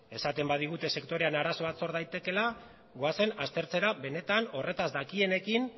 esaten badigute sektorean arazoa sor daitekeela goazen aztertzera benetan horretaz dakitenekin